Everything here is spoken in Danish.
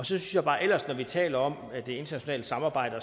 synes jeg bare at når vi taler om det internationale samarbejde